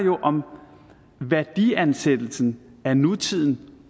om værdiansættelsen af nutiden